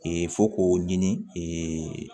fo k'o ɲini